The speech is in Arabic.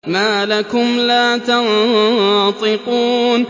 مَا لَكُمْ لَا تَنطِقُونَ